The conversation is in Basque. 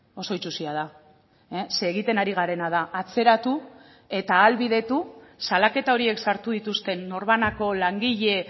oso itsusia da ze egiten ari garena da atzeratu eta ahalbidetu salaketa horiek sartu dituzten norbanako langile